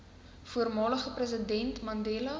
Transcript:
voormalige president mandela